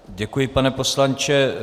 Děkuji, pane poslanče.